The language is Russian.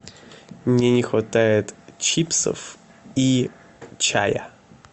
мне не хватает чипсов и чая